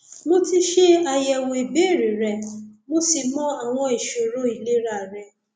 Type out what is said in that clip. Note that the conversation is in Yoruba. mo ti ṣe àyẹwò ìbéèrè rẹ mo sì mọ àwọn ìṣòro ìlera rẹ